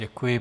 Děkuji.